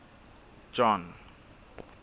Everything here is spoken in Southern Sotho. john